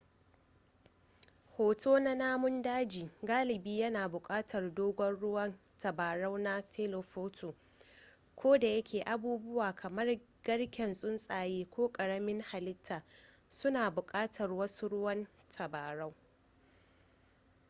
hoto na namun daji galibi yana buƙatar dogon ruwan tabarau na telephoto kodayake abubuwa kamar garken tsuntsaye ko ƙaramin halitta suna buƙatar wasu ruwan tabarau